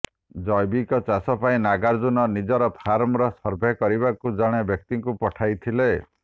ଜୈବିକ ଚାଷ ପାଇଁ ନାଗାର୍ଜୁନ ନିଜର ଫାର୍ମର ସର୍ଭେ କରିବାକୁ ଜଣେ ବ୍ୟକ୍ତିଙ୍କୁ ପଠାଇଥିଲେ